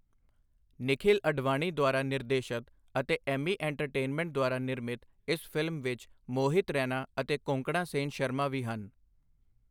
ਨਿਖਿਲ ਅਡਵਾਨੀ ਦੁਆਰਾ ਨਿਰਦੇਸ਼ਤ ਅਤੇ ਐੱਮੀ ਐਂਟਰਟੇਨਮੈਂਟ ਦੁਆਰਾ ਨਿਰਮਿਤ ਇਸ ਫਿਲਮ ਵਿੱਚ ਮੋਹਿਤ ਰੈਨਾ ਅਤੇ ਕੋਂਕਣਾ ਸੇਨ ਸ਼ਰਮਾ ਵੀ ਹਨ।